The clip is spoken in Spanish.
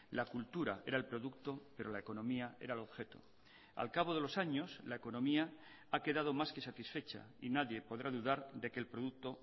la cultura era el producto pero la economía era el objeto al cabo de los años la economía ha quedado más que satisfecha y nadie podrá dudar de que el producto